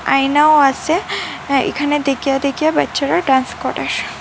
আয়নাও আসে হ্যাঁ এখানে দেকিয়া দেকিয়া বাচ্চারা ডান্স করে।